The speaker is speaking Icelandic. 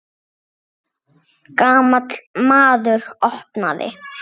Gamall maður opnaði.